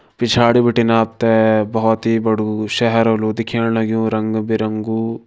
पिछाड़ी बिटिन आप त बहोत बड़ू शहर होलु दिखेण लग्युं रंग बिरंगु।